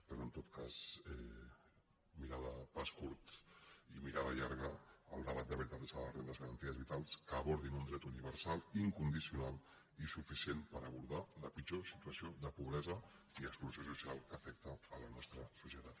però en tot cas mirada a pas curt i mirada llarga el debat de veritat és el de les rendes garantides vitals que abordin un dret universal incondicional i suficient per abordar la pitjor situació de pobresa i exclusió social que afecta la nostra societat